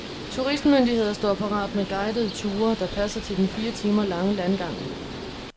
Turistmyndigheder står parat med guidede ture, der passer til den fire timer lange landgang.